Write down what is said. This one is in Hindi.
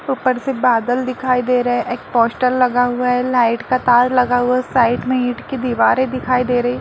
ऊपर से बदल दिखाई दे रहे हैं | एक पोस्टर लगा हुआ है लाइट का तार लगा हुआ है साइड में ईट की दीवारे दिखाई दे रही है।